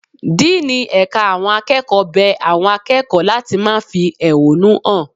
Díínì ẹ̀ka àwọn akẹ́kọ̀ọ́ bẹ àwọn akẹ́kọ̀ọ́ láti má fi ehúnú hàn.